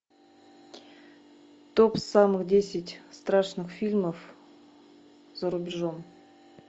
топ самых десять страшных фильмов за рубежом